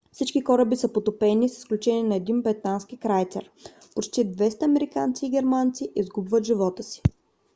всички кораби са потопени с изключение на един британски крайцер. почти 200 американци и германци изгубват живота си